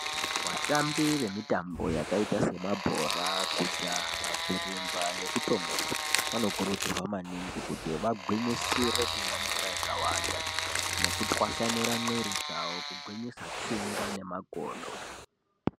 Vatambi vemitambo yakaita semabhora, kujaha, kurumba nekutomuka vanokurudzira maningi kuti vagwinyisire kumwa mvura yakawanda nekutwasanura mwiri dzavo kugwinyisa tsinga nemakodo.